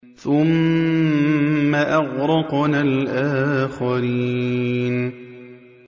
ثُمَّ أَغْرَقْنَا الْآخَرِينَ